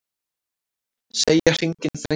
Segja hringinn þrengjast